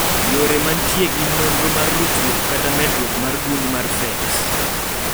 yore mantie gin nonro mar ruchruok kata medruok mar gund mar PHEX